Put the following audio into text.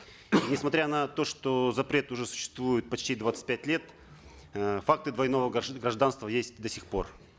несмотря на то что запрет уже существует почти двадцать пять лет э факты двойного гражданства есть до сих пор